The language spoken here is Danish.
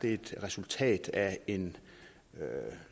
er et resultat af en